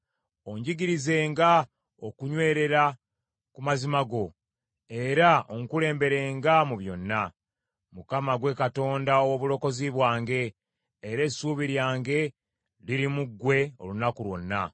Onjigirizenga okunywerera ku mazima go, era onkulemberenga mu byonna; kubanga ggwe Katonda, ow’obulokozi bwange era essuubi lyange liri mu ggwe olunaku lwonna.